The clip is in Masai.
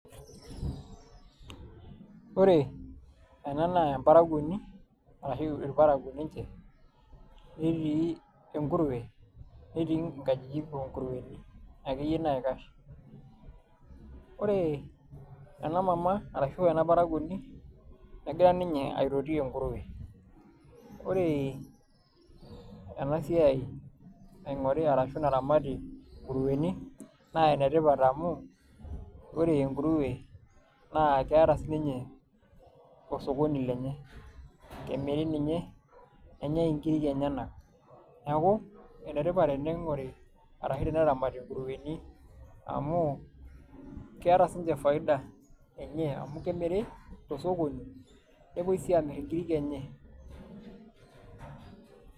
ore ena naa emparakuoni ahu irparakuo ninche, netii enkuruwe, netii nkajijik oongurueni akeyie, naikash. ore ena mama ashu ena parakuoni, negira ninye aitoti enguruwe, ore ena siai naingori arashu naramati ngurueni, naa ene tipat amu ore engurue, keeta si ninye osokoni lenye. kemiri ninye nenyae nkiri enyenak neeku. ene tipat teneingori arashu teneramti ngurueni amu, keeta sii ninche faida amu kemiri tookoni nepuoi sii aamir inkirik enye.